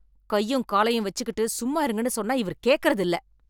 கையும் காலையும் வச்சுக்கிட்டு சும்மா இருங்கன்னு சொன்னா இவர் கேட்கிறது இல்லை